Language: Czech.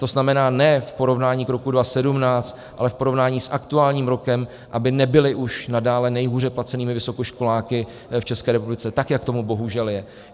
To znamená, ne v porovnání k roku 2017, ale v porovnání s aktuálním rokem, aby nebyli už nadále nejhůře placenými vysokoškoláky v České republice, tak jak tomu bohužel je.